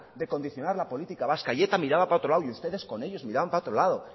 de condicionar la política vasca y eta miraba para otro lado y ustedes con ellos miraban para otro lado